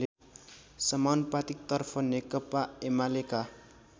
समानुपातिक तर्फ नेकपाएमालेका